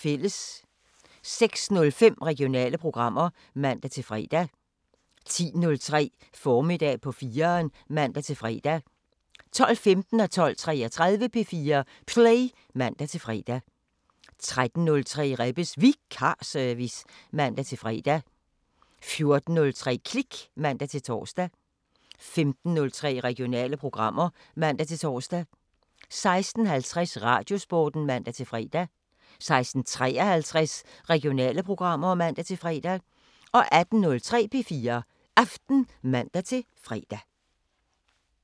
06:05: Regionale programmer (man-fre) 10:03: Formiddag på 4'eren (man-fre) 12:15: P4 Play (man-fre) 12:33: P4 Play (man-fre) 13:03: Rebbes Vikarservice (man-fre) 14:03: Klik (man-tor) 15:03: Regionale programmer (man-tor) 16:50: Radiosporten (man-fre) 16:53: Regionale programmer (man-fre) 18:03: P4 Aften (man-fre)